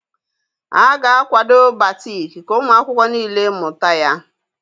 A ga-akwado Batik ka ụmụ akwụkwọ niile mụta ya